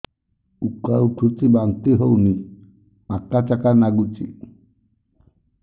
ଉକା ଉଠୁଚି ବାନ୍ତି ହଉନି ଆକାଚାକା ନାଗୁଚି